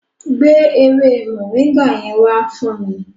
Gbé ewé Moringa yẹn wá fún mi.